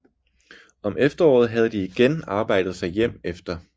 Om efteråret havde de igen arbejdet sig hjem efter